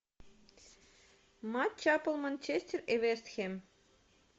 матч апл манчестер и вест хэм